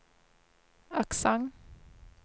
aksent